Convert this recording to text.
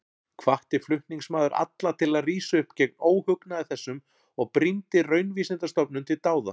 Hvatti flutningsmaður alla til að rísa upp gegn óhugnaði þessum og brýndi Raunvísindastofnun til dáða.